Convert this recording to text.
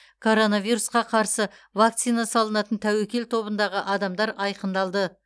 коронавирусқа қарсы вакцина салынатын тәуекел тобындағы адамдар айқындалды